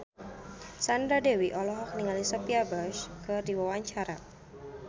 Sandra Dewi olohok ningali Sophia Bush keur diwawancara